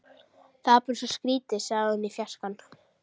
Það er bara svo skrýtið sagði hún út í fjarskann.